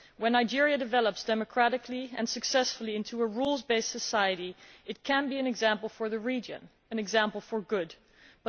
If Nigeria develops democratically and successfully into a rule based society it could be an example for the region an example in the good sense.